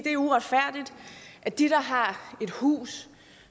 er uretfærdigt at de har et hus